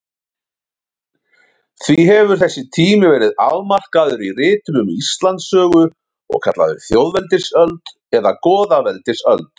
Því hefur þessi tími verið afmarkaður í ritum um Íslandssögu og kallaður þjóðveldisöld eða goðaveldisöld.